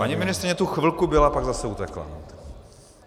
Paní ministryně tu chvilku byla, pak zase utekla.